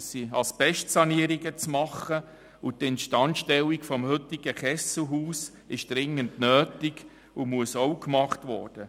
Es sind Asbestsanierungen vorzunehmen, und die Instandstellung des heutigen Kesselhauses ist dringend nötig und muss auch gemacht werden.